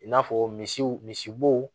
I n'a fɔ misiw misi bo